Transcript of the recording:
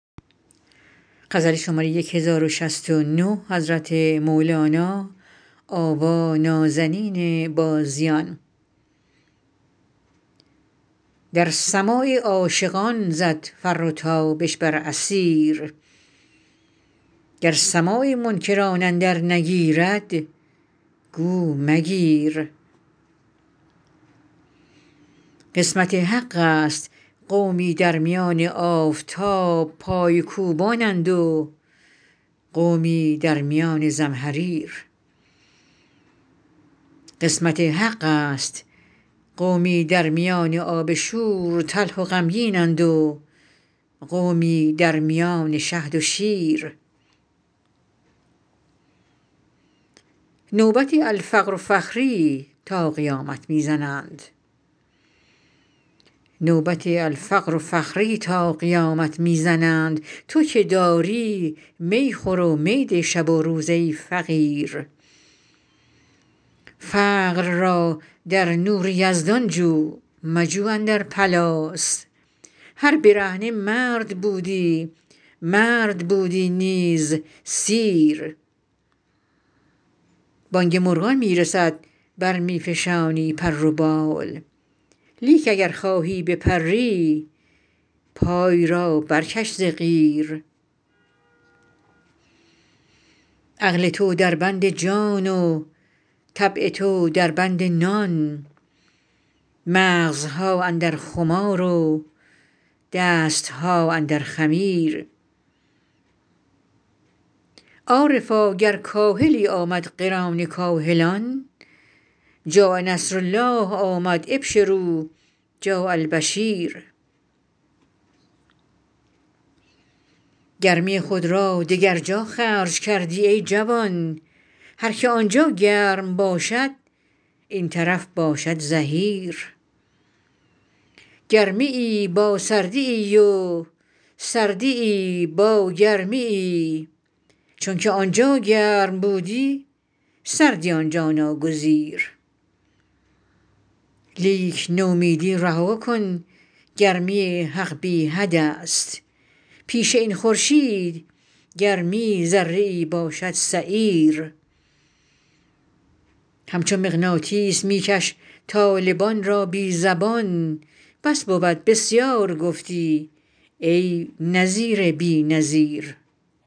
در سماع عاشقان زد فر و تابش بر اثیر گر سماع منکران اندر نگیرد گو مگیر قسمت حقست قومی در میان آفتاب پای کوبانند و قومی در میان زمهریر قسمت حقست قومی در میان آب شور تلخ و غمگینند و قومی در میان شهد و شیر نوبت الفقر فخری تا قیامت می زنند تو که داری می خور و می ده شب و روز ای فقیر فقر را در نور یزدان جو مجو اندر پلاس هر برهنه مرد بودی مرد بودی نیز سیر بانگ مرغان می رسد بر می فشانی پر و بال لیک اگر خواهی بپری پای را برکش ز قیر عقل تو دربند جان و طبع تو دربند نان مغزها اندر خمار و دست ها اندر خمیر عارفا گر کاهلی آمد قران کاهلان جاء نصرالله آمد ابشروا جاء البشیر گرمی خود را دگر جا خرج کردی ای جوان هر کی آن جا گرم باشد این طرف باشد زحیر گرمیی با سردیی و سردیی با گرمیی چونک آن جا گرم بودی سردی این جا ناگزیر لیک نومیدی رها کن گرمی حق بی حدست پیش این خورشید گرمی ذره ای باشد سعیر همچو مغناطیس می کش طالبان را بی زبان بس بود بسیار گفتی ای نذیر بی نظیر